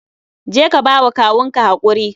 Je ka ba wa kawun ka hakuri